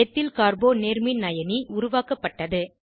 ethyl கார்போ நேர்மின்அயனி ch3 சி2 உருவாக்கப்பட்டது